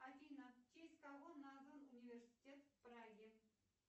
афина в честь кого назван университет в праге